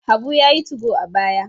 Habu ya yi 2go a baya.